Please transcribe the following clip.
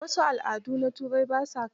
A wasu al'adun na Turai, ba sa kaciya.